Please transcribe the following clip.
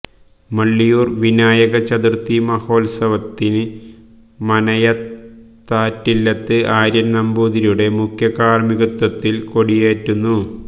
മള്ളിയൂർ വിനായക ചതുർത്ഥി മഹോത്സവത്തിന് മനയത്താറ്റില്ലത്ത് ആര്യൻ നമ്പൂതിരിയുടെ മുഖ്യകാർമ്മികത്വത്തിൽ കൊടിയേറ്റുന്നു